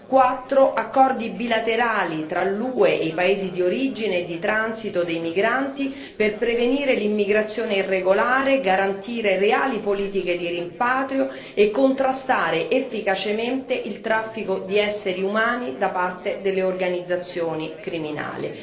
4 Accordi bilaterali tra l'UE e i paesi di origine e di transito dei migranti per prevenire l'immigrazione irregolare, garantire reali politiche di rimpatrio e contrastare efficacemente il traffico di esseri umani da parte delle organizzazioni criminali.